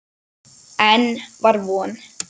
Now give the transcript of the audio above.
Enn var von!